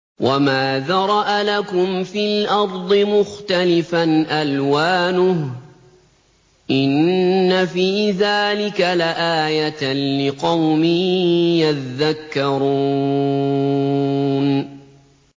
وَمَا ذَرَأَ لَكُمْ فِي الْأَرْضِ مُخْتَلِفًا أَلْوَانُهُ ۗ إِنَّ فِي ذَٰلِكَ لَآيَةً لِّقَوْمٍ يَذَّكَّرُونَ